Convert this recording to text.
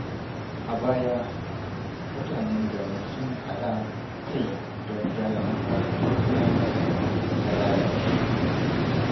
A baya, mutanen garin sun haɗa kai don gyara makarantar firamare da ta lalace.